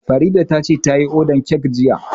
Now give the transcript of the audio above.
Farida ta ce ta yi ordan kek jiya